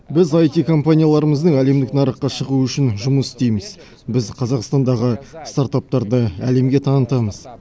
біз аити компанияларымыздың әлемдік нарыққа шығуы үшін жұмыс істейміз біз қазақстандағы стартаптарды әлемге танытамыз